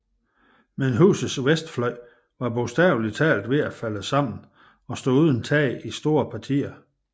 Men husets vestfløj var bogstavelig talt ved at falde sammen og stod uden tag i store partier